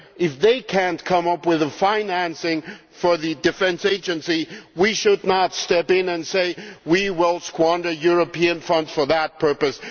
If they cannot come up with the financing for the Defence Agency, we should not step in and say that we will squander European funds for that purpose.